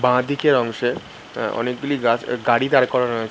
বা দিকের অংশে আ অনেকগুলি গাছ এ গাড়ি দাঁড় করানো আছে।